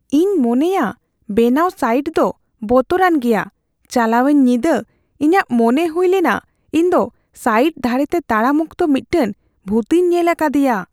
ᱤᱧ ᱢᱚᱱᱮᱭᱟ ᱵᱮᱱᱟᱣ ᱥᱟᱭᱤᱴ ᱫᱚ ᱵᱚᱛᱚᱨᱟᱱ ᱜᱮᱭᱟ ᱾ ᱪᱟᱞᱟᱣᱮᱱ ᱧᱤᱫᱟᱹ ᱤᱧᱟᱜ ᱢᱚᱱᱮ ᱦᱩᱭ ᱞᱮᱱᱟ ᱤᱧ ᱫᱚ ᱥᱟᱭᱤᱴ ᱫᱷᱟᱨᱮᱛᱮ ᱛᱟᱲᱟᱢ ᱚᱠᱛᱚ ᱢᱤᱫᱴᱟᱝ ᱵᱷᱩᱛᱤᱧ ᱧᱮᱞ ᱟᱠᱟᱫᱤᱭᱟ ᱾